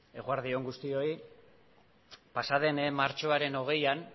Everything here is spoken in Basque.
eguerdi on guztioi pasa den martxoaren hogeian